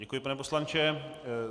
Děkuji, pane poslanče.